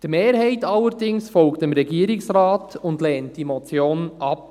Die Mehrheit allerdings folgt dem Regierungsrat und lehnt die Motion ab.